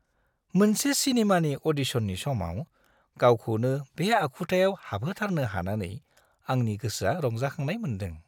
मोनसे सिनेमानि अडिसननि समाव गावखौनो बे आखुथायाव हाबहोथारनो हानानै आंनि गोसोआ रंजाखांनाय मोनदों।